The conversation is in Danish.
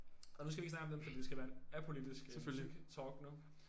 Og nu skal vi ikke snakke om den fordi det skal være apolitisk øh musik talk nu